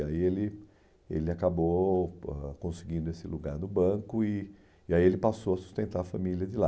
E aí ele ele acabou ãh conseguindo esse lugar no banco e e aí ele passou a sustentar a família de lá.